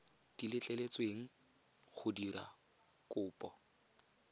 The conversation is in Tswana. di letleletsweng go dira kopo